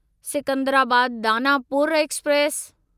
Secunderabad Danapur express